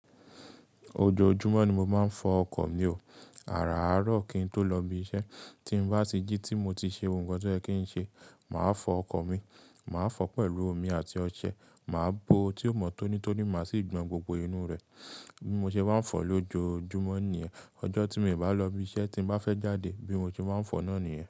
Ojoojúmọ́ ni mo máa ń fọ ọkọ̀ mi ó. Àràárọ̀ kí n tó lọ ibi iṣẹ́ tí n bá ti jí tí mo ti ṣe ohun kan tí ó yẹ kí n ṣe, màá fọ ọkọ̀ mi. Màá fọ pẹ̀lú omi àti ọṣẹ, màá bo ó tí ó mọ́ tónítóní má sì gbọn gbogbo inú rẹ̀. Bí mo ṣe bá ń fọ lójoojúmọ́ nìyẹn. Ọjọ́ tí mi o bá lọ ibi iṣẹ́ tí m bá fẹ́ jáde bí mo ṣe máa ń fọ náà nìyẹn.